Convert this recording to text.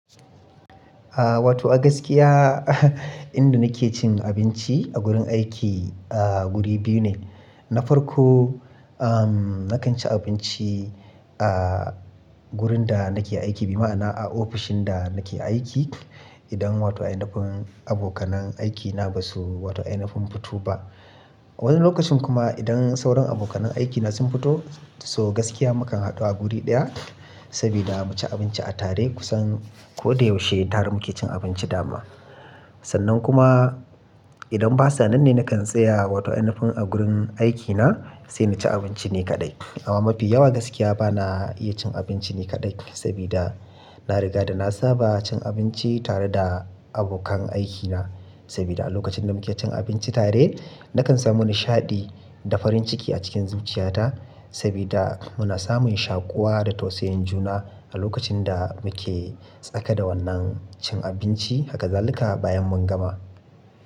Aaa, wato a gaskiya inda nake cin abinci a gurin aiki, aaa, guri biyu ne. Na farko, ehm, nakan ci abinci, aaaa, wurin da nake aiki, bi ma'ana a ofishin da nake aiki. Idan wato ainafin abokanan aikina ba su wato ainafin fito ba. Wani lokacin kuma idan sauran abokanan aikina sun fito, so gaskiya mu kan haɗu a guri ɗaya, sabida mu ci abinci a tare kusan ko da yaushe tare muke cin abinci da ma. Sannan kuma idan ba sannan ne nakan tsaya wato ainafin a gurin aikina sai na ci abinci ni kaɗai. Amma mafi yawa gaskiya ba na iya cin abinci ni kaɗai sabida na riga da na saba cin abinci tare da abokan aikina. Sabida a lokacin da muke cin abinci tare nakan samu nishaɗi da farin ciki a cikin zuciyata sabida muna samun shaƙuwa da tausayin juna a lokacin da muke tsaka da wannan cin abinci, haka zaluka bayan mun gama.